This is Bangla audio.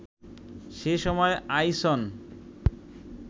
সে সময় আইসন